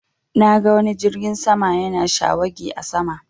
Na ga wani jirgin sama yana shawagi a sama